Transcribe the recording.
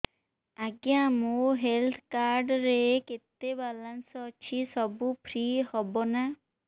ଆଜ୍ଞା ମୋ health card ରେ କେତେ ବାଲାନ୍ସ ଅଛି ସବୁ ଫ୍ରି ହବ ନାଁ